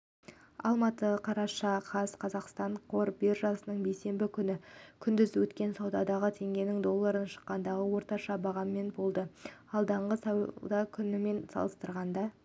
алматы қараша қаз қазақстан қор биржасында бейсенбі күні күндіз өткен саудада теңгенің долларына шаққандағы орташа бағамы болды алдыңғы сауда күнімен салыстырғанда